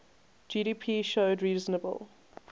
gdp showed reasonable